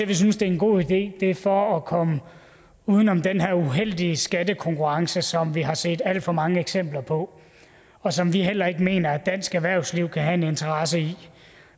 vi synes det er en god idé er for at komme uden om den her uheldige skattekonkurrence som vi har set alt for mange eksempler på og som vi heller ikke mener at dansk erhvervsliv kan have en interesse i